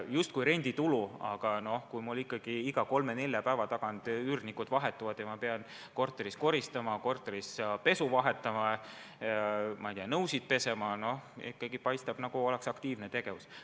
Justkui renditulu, aga kui mul ikkagi iga kolme-nelja päeva tagant üürnikud vahetuvad ja ma pean korteris koristama, pesu vahetama, nõusid pesema – no siis ikkagi paistab, nagu oleks aktiivne tegevus.